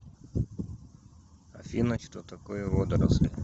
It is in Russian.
афина что такое водоросли